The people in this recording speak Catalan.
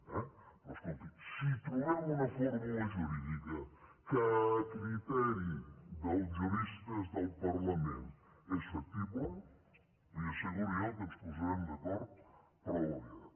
però escolti si trobem una fórmula jurídica que a criteri dels juristes del parlament és factible li asseguro jo que ens posarem d’acord prou aviat